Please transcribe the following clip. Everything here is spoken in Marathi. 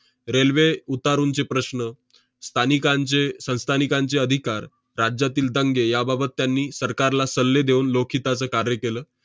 railway उतारूंचे प्रश्न, स्थानिकांचे~ संस्थानिकांचे अधिकार, राज्यातील दंगे याबाबत त्यांनी सरकारला सल्ले देऊन लोकहिताचं कार्य केलं.